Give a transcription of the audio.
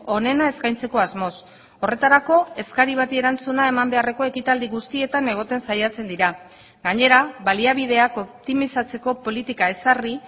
onena eskaintzeko asmoz horretarako eskari bati erantzuna eman beharreko ekitaldi guztietan egoten saiatzen dira gainera baliabideak optimizatzeko politika ezarri